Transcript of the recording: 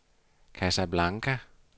Casablanca